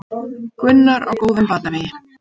Gunnar á góðum batavegi